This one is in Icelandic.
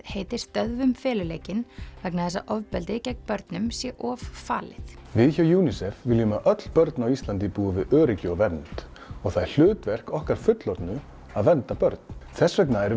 heiti stöðvum feluleikinn vegna þess að ofbeldi gegn börnum sé of falið við hjá UNICEF viljum að öll börn á Íslandi búi við öryggi og vernd og það er hlutverk okkar fullorðnu að vernda börn þess vegna erum